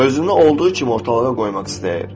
Özünü olduğu kimi ortalığa qoymaq istəyir.